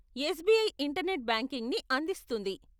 SBI internet బ్యాంకింగ్ని అందిస్తుంది.